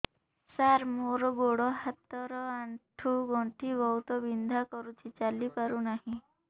ସାର ମୋର ଗୋଡ ହାତ ର ଆଣ୍ଠୁ ଗଣ୍ଠି ବହୁତ ବିନ୍ଧା କରୁଛି ଚାଲି ପାରୁନାହିଁ